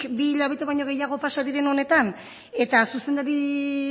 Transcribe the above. bi hilabete baino gehiago pasa diren honetan zuzendari